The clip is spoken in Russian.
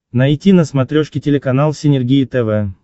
найти на смотрешке телеканал синергия тв